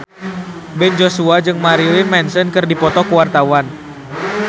Ben Joshua jeung Marilyn Manson keur dipoto ku wartawan